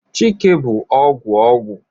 Chike bu ogwu ogwu